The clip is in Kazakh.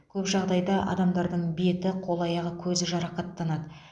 көп жағдайда адамның беті қол аяғы көзі жарақаттанады